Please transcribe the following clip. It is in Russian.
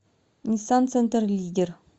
ниссан центр лидер